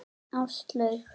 Áslaug